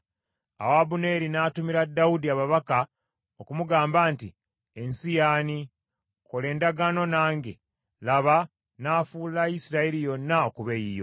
Awo Abuneeri n’atumira Dawudi ababaka okumugamba nti, “Ensi y’ani? Kola endagaano nange, laba nnaafuula Isirayiri yonna okuba eyiyo.”